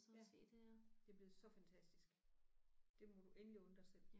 Ja det er blevet så fantastisk. Det må du endelig unde dig selv